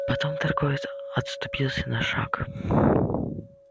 потом торговец отступился на шаг